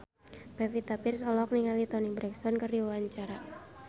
Pevita Pearce olohok ningali Toni Brexton keur diwawancara